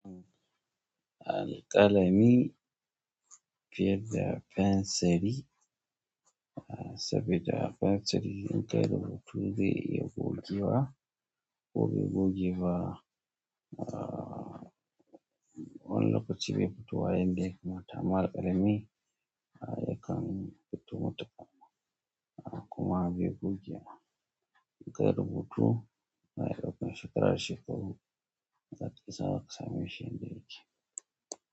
Alƙalami fiye da penseri, sabida penseri inkayi rubutu zai iya gogewa ko bai gogeba ah, wani lokaci be fitowa yanda ya kamata amma alƙalami yakan fito kuma bai goge ba. Inkayi rubutu na tsofin shekara da shekaru, zaka iya sawa ka sameshi yanda yake.